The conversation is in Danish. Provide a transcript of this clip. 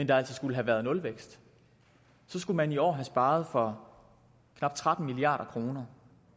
der altså skulle have været nulvækst så skulle man i år have sparet for knap tretten milliard kroner